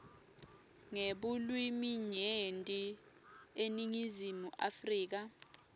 ngebulwiminyenti eningizimu afrika